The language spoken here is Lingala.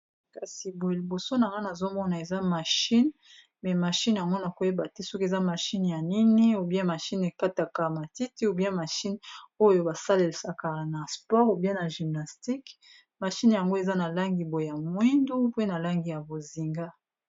kasi boye liboso na ngana azomona eza mashine me mashine yangona koyeba te soki eza mashine ya nini obian mashine ekataka matiti obia mashine oyo basalelaka na spore obia ya gymnastiqe mashine yango eza na langi boe ya moindu mpe na langi ya bozinga